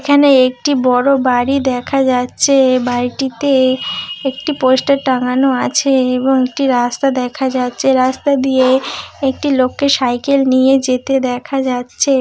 এখানে একটি বড়ো বাড়ি দেখা যাচ্ছে-এ বাড়িটিতে একটি পোস্টার টাঙ্গানো আছে-এ এবং একটি রাস্তা দেখা যাচ্ছে। রাস্তা দিয়ে একটি লোককে সাইকেল নিয়ে যেতে দেখা যাচ্ছে।